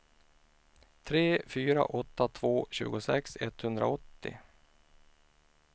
tre fyra åtta två tjugosex etthundraåttio